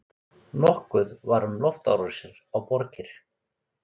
Nokkuð var um loftárásir á borgir.